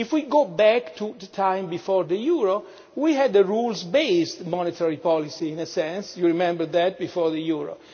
If we go back to the time before the euro, we had a rules based monetary policy in a sense you remember that, before the euro?